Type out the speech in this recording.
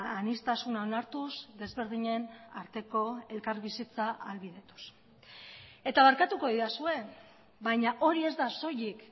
aniztasuna onartuz desberdinen arteko elkarbizitza ahalbidetuz eta barkatuko didazue baina hori ez da soilik